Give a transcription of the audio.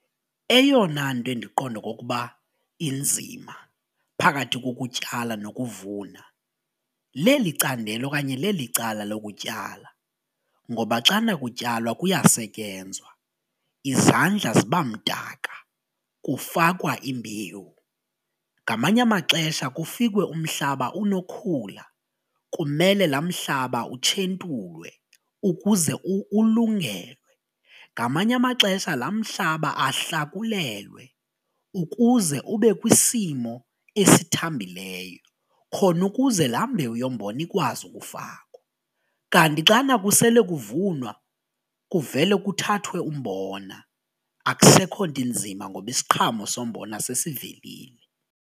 Eyona nto endiqonda okokuba inzima phakathi kokutyala nokuvuna leli candelo okanye leli cala lokutyala ngoba xana kutyalwa kuyasetyenzwa izandla ziba mdaka kufakwa imbewu ngamanye amaxesha kufikwe umhlaba unokhula kumele la mhlaba utshentulwe ukuze ulungelwe. Ngamanye amaxesha la mhlaba ahlakulelwe ukuze ube kwisimo esithambileyo khona ukuze la mbewu yombona ikwazi ukufakwa, kanti xana kusele kuvunwa kuvele kuthathwe umbona akusekho nto inzima ngoba isiqhamo sombona sesivelile.